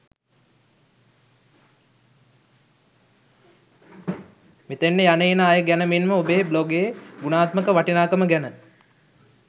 මෙතනට යන එන අය ගැන මෙන්ම ඔබේ බ්ලොගේ ගුණාත්මක වටිනාකම ගැන